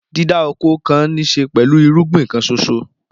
Dídá oko kan níṣe pẹ̀lú irúgbìn kan ṣoṣo.